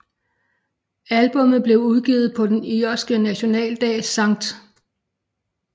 Albummet blev udgivet på den irske nationaldag Skt